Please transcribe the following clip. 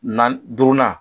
Naani duurunan